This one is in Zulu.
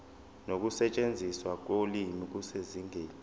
nokusetshenziswa kolimi kusezingeni